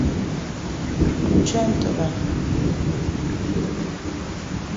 включай нтв